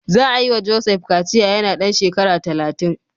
Za a yi wa Joseph kaciya yana ɗan shekara talatin.